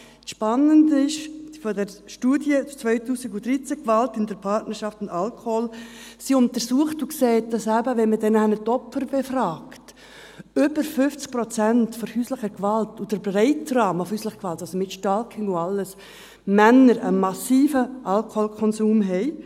Das Spannende an der Studie 2013, «Gewalt in der Partnerschaft und Alkohol», ist: Sie untersucht und sieht, dass, wenn man eben die Opfer befragt, bei über 50 Prozent der häuslichen Gewalt – und gemeint ist der breite Rahmen von häuslicher Gewalt, also mit Stalking und allem – die Männer einen massiven Alkoholkonsum haben;